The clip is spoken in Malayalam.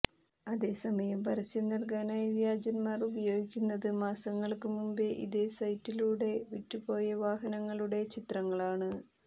അതേസമയം പരസ്യം നൽകാനായി വ്യാജന്മാർ ഉപയോഗിക്കുന്നത് മാസങ്ങൾക്ക് മുമ്പേ ഇതേ സൈറ്റിലൂടെ വിറ്റുപോയ വാഹനങ്ങളുടെ ചിത്രങ്ങളാണ്